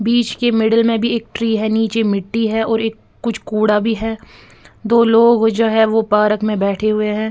बीच के मिडल में भी एक ट्री है नीचे मिट्टी है और एक कुछ कूड़ा भी है दो लोग जो है वो पार्क में बैठे हुए है।